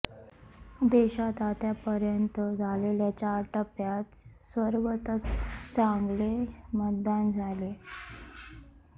देशात आतापर्यंत झालेल्या चार टप्प्यात सर्वत्रच चांगले मतदान झाले